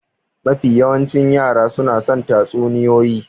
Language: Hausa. Mafi yawancin yara suna son tatsuniyoyi.